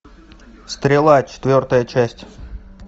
стрела четвертая часть